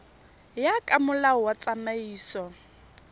ya ka molao wa tsamaiso